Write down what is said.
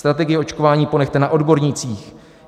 Strategii očkování ponechte na odbornících.